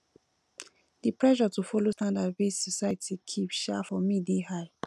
di pressure to folo standard wey society keep um for me dey high